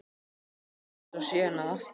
Það var gert og síðan að aftan.